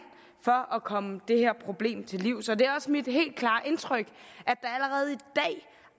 for at komme det her problem til livs det er også mit helt klare indtryk